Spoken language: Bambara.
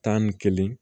Tan ni kelen